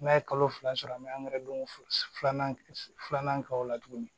N'a ye kalo fila sɔrɔ an bɛ don filanan filanan k'o la tuguni